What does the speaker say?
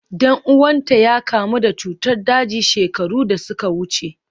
Dan uwanta ya kamu da cutar daji shekaru da suka wuce.